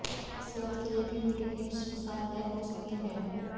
सेहत के लिए भी वीडियो गेम्स नुकसानदायक हो सकती हैं